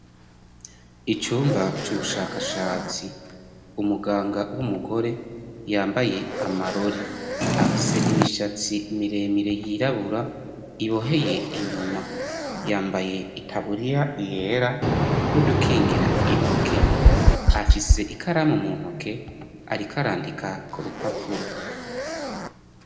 Icumba c'ubushakashatsi, umuganga w'umugore yambaye amarori afise imishatsi miremire yirabura iboheye inyuma yambaye itaburiya yera n'udukingira intoke afise ikaramu muntoke arik'arandika k'urupapuro.